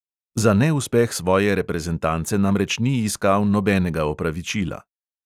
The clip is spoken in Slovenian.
Za neuspeh svoje reprezentance namreč ni iskal nobenega opravičila.